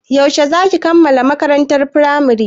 Yaushe za ki kammala makarantar Firamare?